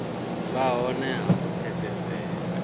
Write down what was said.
vha hone ha u pfesesea